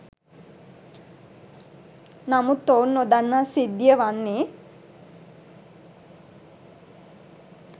නමුත් ඔවුන් නොදන්නා සිද්ධිය වන්නේ